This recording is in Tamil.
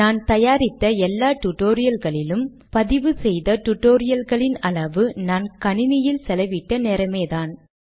நான் தயாரித்த எல்லா டுடோரியல்களிலும் பதிவு செய்த டுடோரியலின் அளவு நான் கணினியில் செலவிட்ட நேரமேதான்